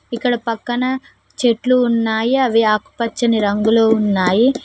ఇక్కడ పక్కన చెట్లు ఉన్నాయి అవి ఆకుపచ్చని రంగులో ఉన్నాయి.